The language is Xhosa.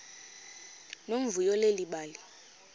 nomvuyo leli bali